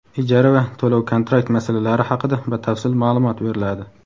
ijara va to‘lov-kontrakt masalalari haqida batafsil maʼlumot beriladi.